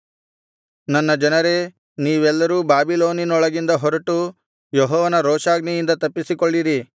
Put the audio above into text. ನನ್ನ ಜನರೇ ನೀವೆಲ್ಲರೂ ಬಾಬೆಲಿನೊಳಗಿಂದ ಹೊರಟು ಯೆಹೋವನ ರೋಷಾಗ್ನಿಯಿಂದ ತಪ್ಪಿಸಿಕೊಳ್ಳಿರಿ